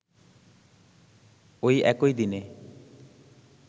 ঐ একই দিনে